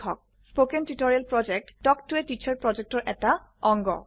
কথন শিক্ষণ প্ৰকল্প তাল্ক ত a টিচাৰ প্ৰকল্পৰ এটা অংগ